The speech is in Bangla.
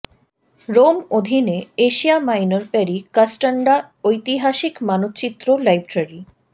রোম অধীনে এশিয়া মাইনর পেরি কাস্টানডা ঐতিহাসিক মানচিত্র লাইব্রেরী